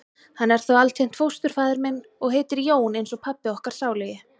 Hann er þó altént fósturfaðir minn. og heitir Jón eins og pabbi okkar sálugi.